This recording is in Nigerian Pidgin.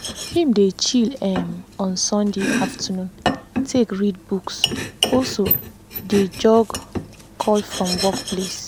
him dey chill um on sunday afternoon take read books also dey jorge call from work place.